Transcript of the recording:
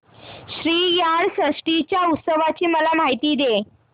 श्रीयाळ षष्टी च्या उत्सवाची मला माहिती दे